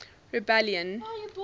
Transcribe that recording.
rebellion